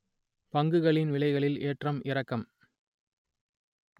பங்குகளின் விலைகளில் ஏற்ற இறக்கம்!